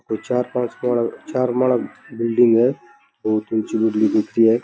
चार पांच चार माडा बिलडिंग है और चुन --